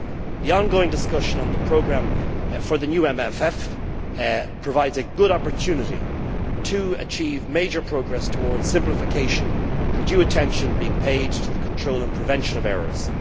The ongoing discussion on the programme for the new MFF provides a good opportunity to achieve major progress towards simplification with due attention being paid to the control and prevention of errors.